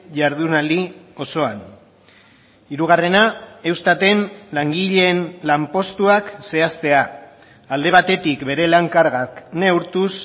jardunaldi osoan hirugarrena eustaten langileen lanpostuak zehaztea alde batetik bere lan kargak neurtuz